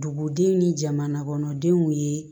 Dugudenw ni jamana kɔnɔ denw ye